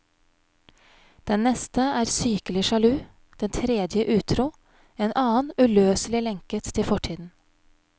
Den neste er sykelig sjalu, den tredje utro, en annen uløselig lenket til fortiden.